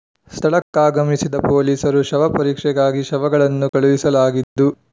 ಸ್ಥಳಕ್ಕಾಗಮಿಸಿದ ಪೊಲೀಸರು ಶವ ಪರೀಕ್ಷೆಗಾಗಿ ಶವಗಳನ್ನು ಕಳುಹಿಸಲಾಗಿದ್ದು